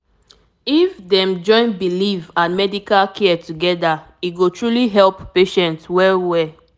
to understand wetin patient believe dey help communication and trust